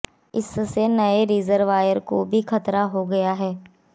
इससे नए रिजर्वायर को भी खतरा हो गया है